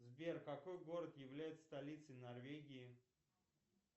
сбер какой город является столицей норвегии